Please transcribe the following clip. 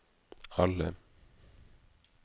alle